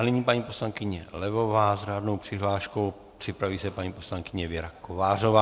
A nyní paní poslankyně Levová s řádnou přihláškou, připraví se paní poslankyně Věra Kovářová.